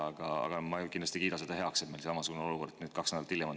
Aga ma kindlasti ei kiida heaks seda, et meil on tekkinud samasugune olukord nüüd, kaks nädalat hiljem.